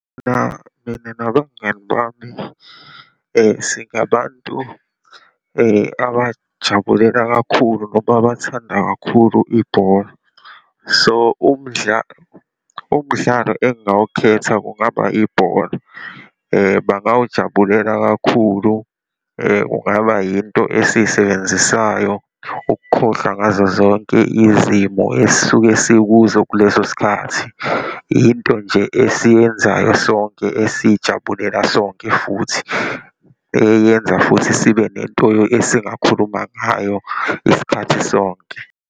Mina mina nabangani bami singabantu abajabulela kakhulu noma abathanda kakhulu ibhola. So, umdlalo engingawukhetha kungaba ibhola. Bangawujabulela kakhulu, ungaba yinto esiyisebenzisayo ukukhohlwa ngazozonke izimo esisuke sikuzo kuleso sikhathi. Into nje esiyenzayo sonke, esiyijabulela sonke futhi, eyenza futhi sibe nento esingakhuluma ngayo isikhathi sonke.